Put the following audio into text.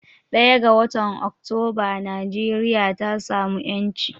1 ga watan oktoba Nigeria ta samu yanci.